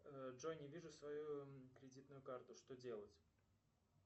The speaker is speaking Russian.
джой не вижу свою кредитную карту что делать